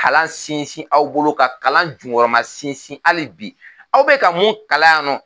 Kalan sinsin aw bolo ka kalan junkɔrɔma sinsin hali bi aw bɛ ka mun kalan yan nɔ